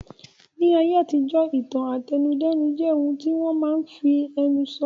Ní ayé àtijọ́, ìtàn àtẹnudẹ́nu jẹ́ ohun tí wọ́n máa n fi ẹnu sọ